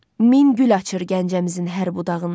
Min gül açır Gəncəmizin hər budağında.